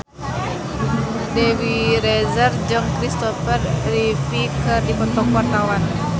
Dewi Rezer jeung Christopher Reeve keur dipoto ku wartawan